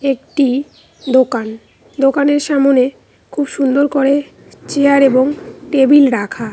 একটি দোকান দোকানের সামনে খুব সুন্দর করে চেয়ার এবং টেবিল রাখা।